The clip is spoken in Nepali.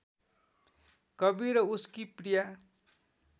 कवि र उसकी प्रिया